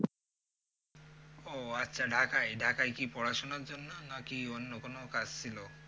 ও আচ্ছা ঢাকায়, ঢাকায় কি পড়াশুনা জন্য না কি অন্য কোন কাজ ছিলো?